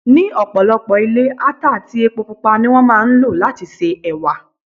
Ní ọ̀pọ̀lọpọ̀ ilé, ata àti epo Pupa ni wón máa ń lò láti se Ẹ̀wà.